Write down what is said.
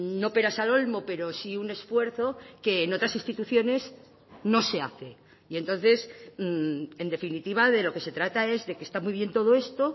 no peras al olmo pero sí un esfuerzo que en otras instituciones no se hace y entonces en definitiva de lo que se trata es de que está muy bien todo esto